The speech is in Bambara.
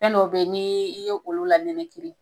Fɛn dɔw be ye n' i ye i ye olu la nɛnɛ kiri